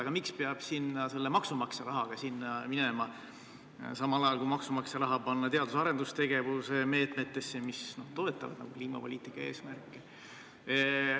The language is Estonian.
Aga miks peab sinna maksumaksja rahaga minema, samal ajal kui maksumaksja raha võiks panna teadus- ja arendustegevuse meetmetesse, mis toetavad kliimapoliitika eesmärke.